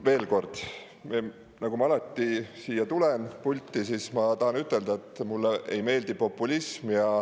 Veel kord, nagu ma alati siia tulen, pulti, siis ma tahan ütelda, et mulle ei meeldi populism.